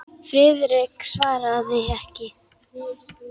Friðrik svaraði ekki.